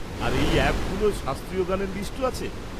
আর এই অ্যাপগুলোয় শাস্ত্রীয় গানের লিস্টও আছে?